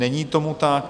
Není tomu tak.